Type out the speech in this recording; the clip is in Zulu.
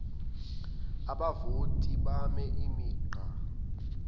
abavoti beme imigqa